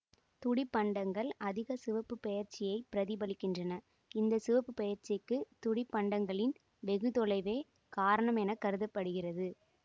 துடிப்பண்டங்கள் அதிக சிவப்புப் பெயர்ச்சியைப் பிரதிபலிக்கின்றன இந்த சிவப்புப்பெயர்ச்சிக்கு துடிப்பண்டங்களின் வெகுதொலைவே காரணம் என கருத்தப்படுகிறது